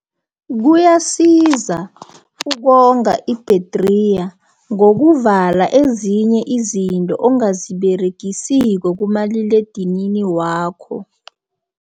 Kuyasiza ukonga ibhedriya, ngokokuvala ezinye izinto angaziberegisiko kumaliledinini wakho.